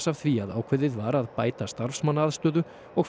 af því að ákveðið var að bæta starfsmannaaðstöðu og